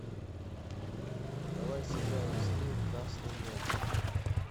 давай сыграем в скилл красный мяч